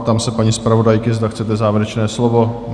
Ptám se paní zpravodajky, zda chcete závěrečné slovo?